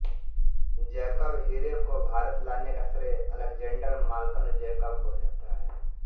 Jacob हीरे को भारत लाने का श्रेय अलैक्जेंडर मालकन जैकब को जाता है